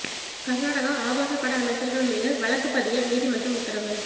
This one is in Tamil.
கர்நாடக ஆபாச பட அமைச்சர்கள் மீது வழக்குப் பதிய நீதிமன்றம் உத்தரவு